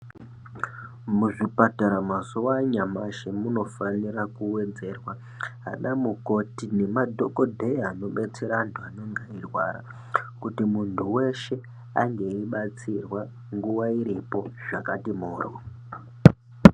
Muzvipatara mazuwa anyamashi munofanira kuwedzerwa ana mukoti nema dhokodheya anobetsere antu anenge eirwara kuti muntu weshe ange eibatsirwa nguwa iripo zvakati moryo.